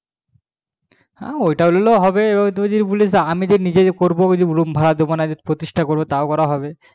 হ্যাঁ ওটাও নিলে ভালো হবে এবার তুই যদি বলিস আমি নিজেই করবো room ভাড়া দিবো না কিংবা প্রতিষ্টা তা করবো তাও করা হবে